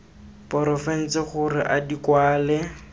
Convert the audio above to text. porofense gore a di kwale